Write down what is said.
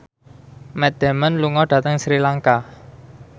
Matt Damon lunga dhateng Sri Lanka